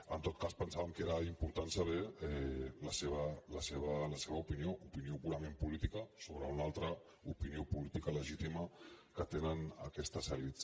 en tot cas pensàvem que era important saber la seva opinió opinió purament política sobre una altra opinió política legítima que tenen aquestes elits